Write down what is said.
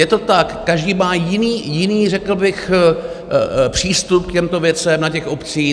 Je to tak, každý má jiný řekl bych přístup k těmto věcem na těch obcích.